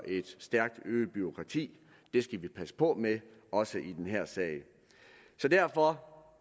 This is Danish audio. et stærkt øget bureaukrati det skal vi passe på med også i den her sag derfor